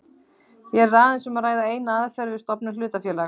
Hér er aðeins um að ræða eina aðferð við stofnun hlutafélags.